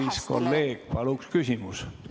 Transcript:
Kallis kolleeg, palun küsimus!